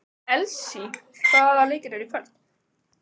Elsý, hvaða leikir eru í kvöld?